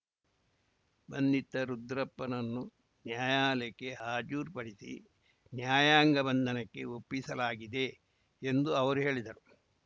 ಬಂಧಿತ ರುದ್ರಪ್ಪನನ್ನು ನ್ಯಾಯಾಲಯಕ್ಕೆ ಹಾಜರುಪಡಿಸಿ ನ್ಯಾಯಾಂಗ ಬಂಧನಕ್ಕೆ ಒಪ್ಪಿಸಲಾಗಿದೆ ಎಂದು ಅವರು ಹೇಳಿದರು